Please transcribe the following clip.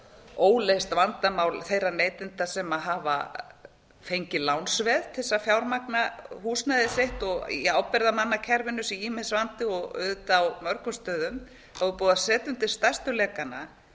óleyst vandamál þeirra neytenda sem hafa fengið lánsveð til þess að fjármagna húsnæði sitt og í ábyrgðarmannakerfinu sé ýmis vandi og auðvitað á mörgum stöðum er búið að setja undir stærstu lekann